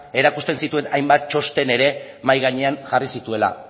erakusten zituen hainbat txosten ere mahai gainean jarri zituela